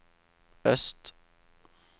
øst